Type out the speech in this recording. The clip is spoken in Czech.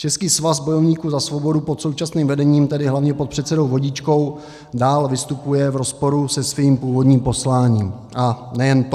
Český svaz bojovníků za svobodu pod současným vedením, tedy hlavně pod předsedou Vodičkou, dál vystupuje v rozporu se svým původním posláním, a nejen to.